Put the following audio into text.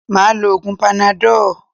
Máà lo oògun panadọ́ọ̀